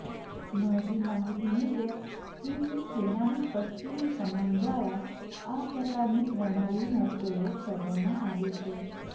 મળતી માહિતી મુજબ ચીનની સેનાની પશ્ચિમી કમાંડ દ્વારા આ પ્રકારની પ્રણાલીનો પયોગ કરવામાં આવે છે